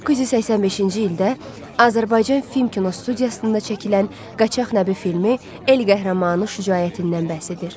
1985-ci ildə Azərbaycan Film Kinostudiyasında çəkilən Qaçaq Nəbi filmi el qəhrəmanı şücaətindən bəhs edir.